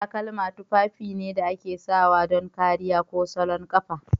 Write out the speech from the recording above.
Takalma tufafi ne da ake sawa don kariya ko salon kafa.